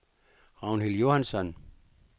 Ragnhild Johansson